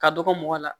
Ka dɔgɔ mɔgɔ la